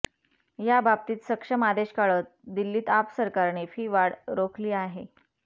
ह्या बाबतीत सक्षम आदेश काढत दिल्लीत आप सरकारने फी वाढ रोखली आहे